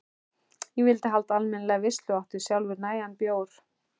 Ég vildi halda almennilega veislu og átti sjálfur nægan bjór.